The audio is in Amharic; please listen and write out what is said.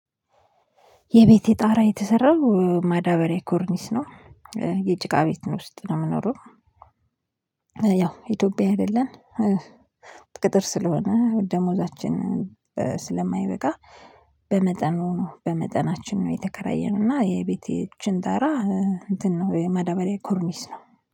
የቤቴ ጣራ የተሰራው ማዳበሪያ ኮርኒስ ነው፤። የጭቃ ቤት ውስጥ ነው የምኖረው። ያው ኢትዮጵያ አይደለን። ቅጥር ስለሆነ ደሞዛችን ስለማይበቃ። በመጠኑ ነው በመጠናችን ነው የተከራየነው እና የቤቴ እችን ጣራ መደበሪያ ኮርኒስ ነው